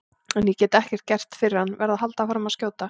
En ég get ekkert gert fyrir hann, verð að halda áfram að skjóta.